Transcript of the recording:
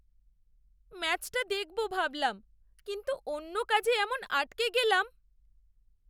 ম্যাচটা দেখবো ভাবলাম, কিন্তু অন্য কাজে এমন আটকে গেলাম।